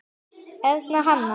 Erna Hanna.